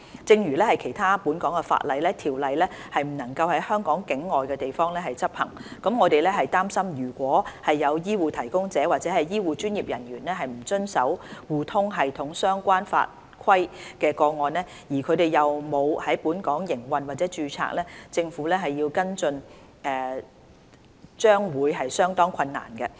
正如其他本港法例，《條例》不能在香港境外的地方執行，我們擔心如果有醫護提供者或醫護專業人員不遵守互通系統相關法規的個案，而他們又沒有在本港營運或註冊，政府要跟進將會相當困難。